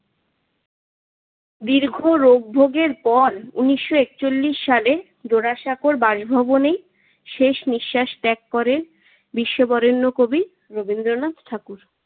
দীর্ঘ রোগ ভোগের পর উনিশশো একচল্লিশ সালে জোরাসাঁকোর বাসভবনে শেষ নিঃশ্বাস ত্যাগ করেন বিশ্ববরেণ্য কবি রবীন্দ্রনাথ ঠাকুর।